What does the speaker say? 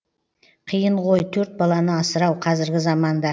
қиынғой төрт баланы асырау қазіргі заманда